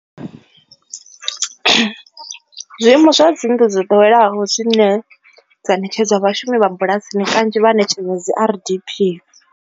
Zwiimo zwa dzi nnḓu dzo ḓoweleaho zwine dza ṋetshedzwa vhashumi vha bulasini kanzhi vha ṋetshedzwa dzi R_D_P.